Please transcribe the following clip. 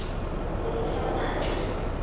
ho mo fa matl a